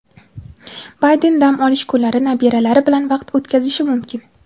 Bayden dam olish kunlari nabiralari bilan vaqt o‘tkazishi mumkin.